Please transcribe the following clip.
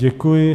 Děkuji.